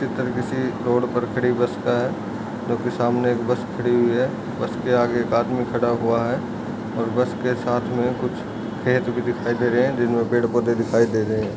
चित्र किसी रोड पर खड़ी बस का है जो की सामने एक बस खड़ी हुई हैऔर उसके आगे एक आदमी खड़ा हुआ है और बस के साथ में कुछ खेत भी दिखाई दे रहे हैं जिनमें पेड़ पौधे दिखाई दे रहे हैं।